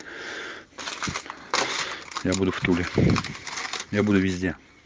я буду в туле я буду везде